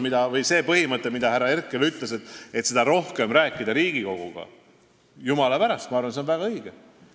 See põhimõte, millest härra Herkel rääkis, et Riigikoguga tuleks rohkem rääkida – jumala pärast, see on väga õige.